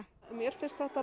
mér finnst þetta